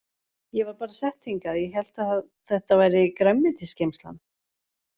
Ég var bara sett hingað ég hélt að þetta væri grænmetisgeymslan.